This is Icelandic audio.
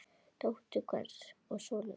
Dóttir hvers og sonur hvers.